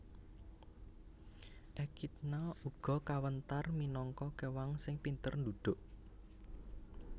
Ekidna uga kawentar minangka kéwang sing pinter ndhudhuk